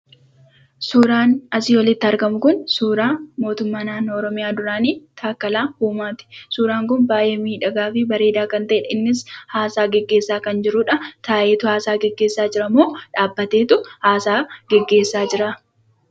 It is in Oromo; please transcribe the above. Suuraan asi olitti argamu kun, suuraa mootumma naannoo oromiyaa duraani Takkalaa Uumati. suuraan kun baay'ee miidhagaa fi bareeda kan ta'edha. innis hasa'aa geggeessa kan jirudha. taa'eetu hasa'aa geggeessa jiramo? dhabbateetu hasa'aa geggeessa jira?